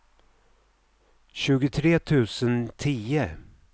tjugotre tusen tio